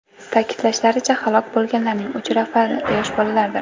Ta’kidlashlaricha, halok bo‘lganlarning uch nafari – yosh bolalardir.